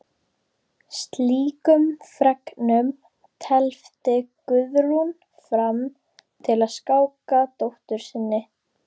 Slíkum fregnum tefldi Guðrún fram til að skáka dóttur sinni.